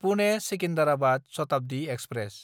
पुने–सिकिन्डाराबाद Shatabdi express